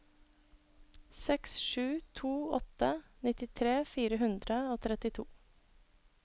seks sju to åtte nittitre fire hundre og trettito